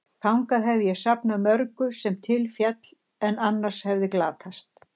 Þangað hef ég safnað mörgu, sem til féll, en annars hefði glatast.